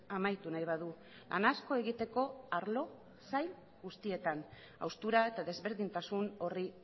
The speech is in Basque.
amaitu nahi badu lan asko egiteko arlo eta sail guztietan haustura eta desberdintasun horri